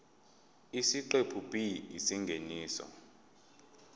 isiqephu b isingeniso